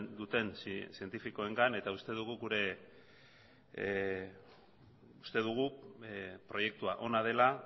duten zientifikoengan eta uste dugu gure uste dugu proiektua ona dela